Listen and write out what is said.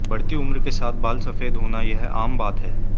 बढ़ती उम्र के साथ बाल सफ़ेद होना यह आम बात है